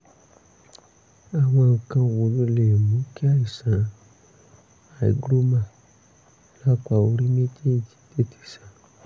àwọn nǹkan wo ló lè mú kí àìsàn hygroma lápá orí méjéèjì tètè san?